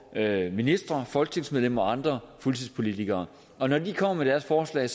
at ministre folketingsmedlemmer og andre fuldtidspolitikere og når de kommer med deres forslag